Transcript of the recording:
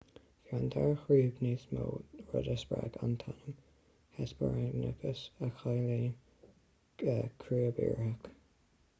bhí an dara chrúb níos mó rud a spreag an t-ainm hesperonychus a chiallaíonn crúb iartharach